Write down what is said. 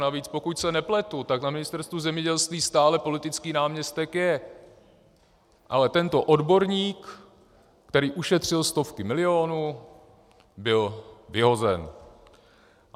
Navíc pokud se nepletu, tak na Ministerstvu zemědělství stále politický náměstek je, ale tento odborník, který ušetřil stovky milionů, byl vyhozen.